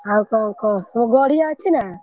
ଆଉ କଣ କହ ତମ ଗଡିଆ ଅଛି ନା?